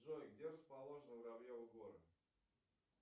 джой где расположены воробьевы горы